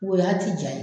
O y'a ti ja ye